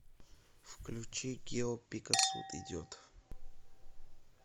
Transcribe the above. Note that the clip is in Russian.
включи гио пика суд идет